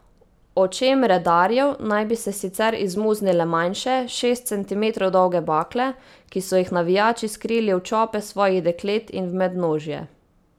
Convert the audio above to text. Očem redarjev naj bi se sicer izmuznile manjše, šest centimetrov dolge bakle, ki so jih navijači skrili v čope svojih deklet in v mednožje.